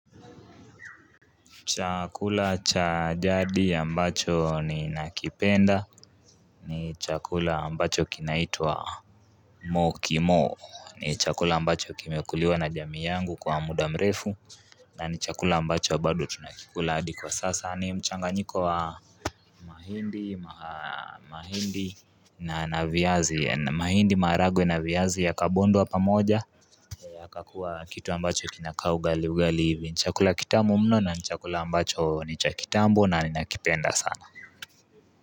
Chakula cha jadi ambacho ni nakipenda. Ni chakula mbacho kinaituwa Mokimo. Ni chakula ambacho kimekuliwa na jami yangu kwa mudamrefu. Na ni chakula ambacho badu tunakikuladi kwa sasa ni mchanga nyiko wa mahindi, mahindi na na viyazi mahindi maragwe na viyazi ya kabondo wapamoja ya kakuwa kitu mbacho kinakau gali ugalivi nchakula kitamu mno na nchakula ambacho ni chakita ambu nani na kipenda sana.